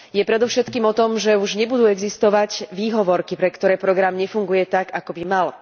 Je predovšetkým o tom, že už nebudú existovať výhovorky, pre ktoré program nefunguje tak, ako by mal.